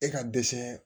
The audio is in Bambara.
E ka dɛsɛ